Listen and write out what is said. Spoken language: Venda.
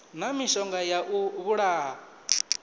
na mishonga ya u vhulaha